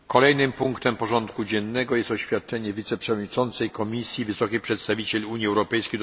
Kolejnym punktem porządku dziennego jest oświadczenie wiceprzewodniczącej Komisji wysokiej przedstawiciel Unii ds.